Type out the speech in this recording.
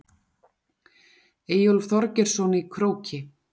Eyjólf Þorgeirsson í Króki.